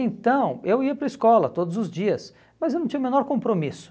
Então, eu ia para a escola todos os dias, mas eu não tinha o menor compromisso.